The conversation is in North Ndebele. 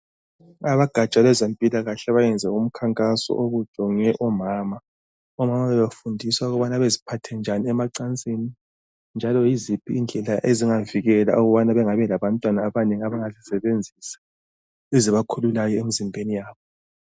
Abagatsha lwezempilakahle bayenze umkhankaso obujonge omama ,omama bebefundiswa ukubana baziphathe njani emacansini njalo yiziphi indlela ezingavikela ukubana bangabi labantwana abanengi abanga zisebenzisa ezibakhululayo emzimbeni yabo.